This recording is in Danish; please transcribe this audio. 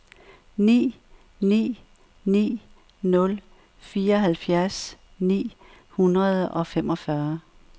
ni ni ni nul fireoghalvfjerds ni hundrede og femogfyrre